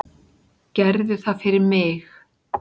Gerðu það fyrir mig.